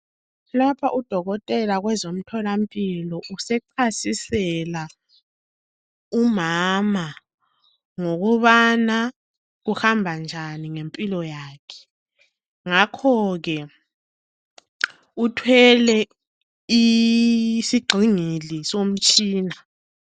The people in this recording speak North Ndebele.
Lapha udokotela kwezomtholampilo, usechasisela umama ngokubana kuhamba njani ngempilo yakhe. Ngakho ke uthwele isigxingi somtshina.